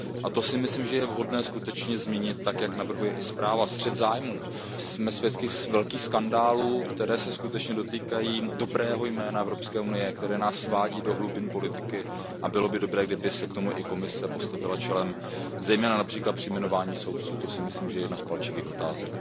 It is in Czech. To si myslím, že je vhodné změnit tak, jak navrhuje i zpráva. Pokud jde o střet zájmů, jsme svědky velkých skandálů, které se skutečně dotýkají dobrého jména Evropské unie, které nás svádí do hlubin politiky, a bylo by dobré, kdyby se k tomu i Evropská komise postavila čelem, zejména například při jmenování soudců, to si myslím, že je jedna z palčivých otázek.